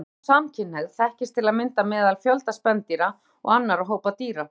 Sjálfsfróun og samkynhneigð þekkist til að mynda meðal fjölda spendýra og annarra hópa dýra.